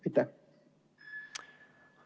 Aitäh!